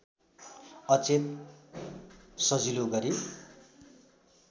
अचेल सजिलो गरी